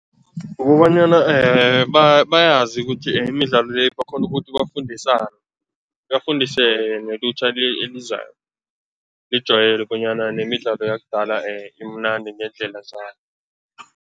Ukobanyana bayazi ukuthi imidlalo le, bakghone ukuthi bafundisane, bafundise nelutjha elizayo, lijwayele bonyana nemidlalo yakudala imnandi ngeendlela zayo.